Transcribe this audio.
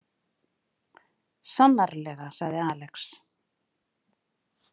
Sannarlega, sagði Alex.